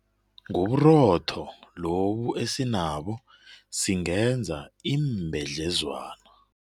Ngoburotho lobu esinabo singenza iimbedlezwana.